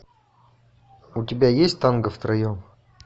у тебя есть танго втроем